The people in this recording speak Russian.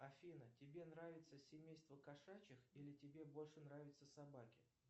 афина тебе нравится семейство кошачих или тебе больше нравятся собаки